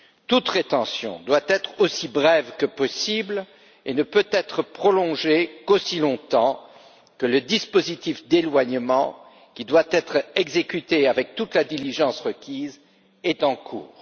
Toute rétention doit être aussi brève que possible et ne peut être prolongée qu'aussi longtemps que le dispositif d'éloignement, qui doit être exécuté avec toute la diligence requise, est en cours.